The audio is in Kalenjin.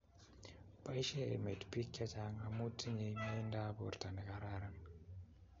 Boishee emet bik che chang amu tinyei meindap borto nekararan